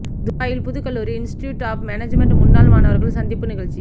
துபாயில் புதுக்கல்லூரி institute of management முன்னாள் மாணவர்கள் சந்திப்பு நிகழ்ச்சி